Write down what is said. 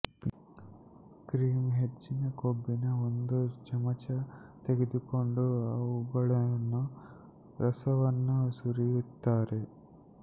cream ಹೆಚ್ಚಿನ ಕೊಬ್ಬಿನ ಒಂದು ಚಮಚ ತೆಗೆದುಕೊಂಡು ಅವುಗಳನ್ನು ರಸವನ್ನು ಸುರಿಯುತ್ತಾರೆ